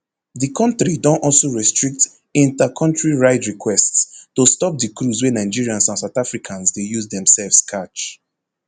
di kontri don also restrict intercountry ride requests to stop di cruise wey nigerians and south africans dey use demsefs catch